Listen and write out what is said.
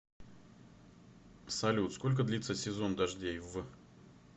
салют сколько длится сезон дождей в